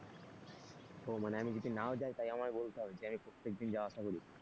ও মানে আমি যদি নাও যাই তাই আমায় বলতে হবে যে আমি প্রত্যেকদিন যাওয়া আসা করি।